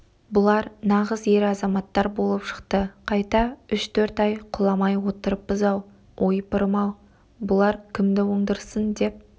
бұлар нағыз ер азаматтар болып шықты қайта үш-төрт ай құламай отырыппыз-ау ойпырым-ау бұлар кімді оңдырсын деп